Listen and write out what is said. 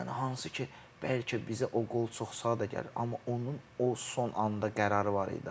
Yəni hansı ki, bəlkə bizə o qol çox sadə gəlir, amma onun o son anda qərarı var idi.